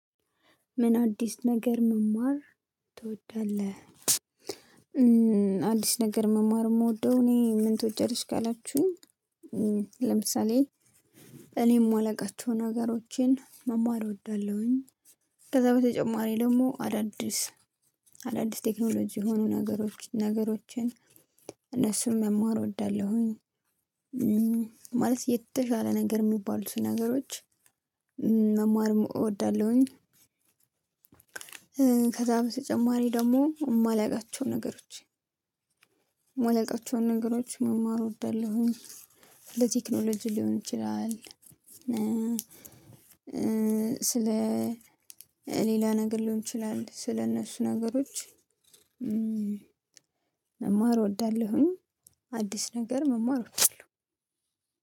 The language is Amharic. ምን አዲስ ነገር መማር ትወዳለህ አዲስ ነገር መማር የምወደው እኔ ምን ትወጃለሽ ካላችሁኝ? ለምሳሌ እኔም የማላውቃቸውን ነገሮችን መማር እወዳለሁኝ። ከዛ በተጨማሪ ደግሞ አዳዲስ አዳዲስ ቴክኖሎጂ የሆኑ ነገሮችን ነገሮችን እነሱን መማር እወዳለሁኝ። ማለት የተሻለ ነገር የሚባሉትን ነገሮች መማር እወዳለሁኝ። ከዛ በተጨማሪ ደግሞ የማላውቃቸው ነገሮች የማላውቃቸው ነገሮች መማር እወዳለሁኝ ስለ ቴክኖሎጂ ሊሆን ይችላል። ስለ ሌላ ነገር ሊሆን ይችላል ስለእነሱ ነገሮች መማር እወዳለሁኝ። አዲስ ነገር መማር እወዳለሁ።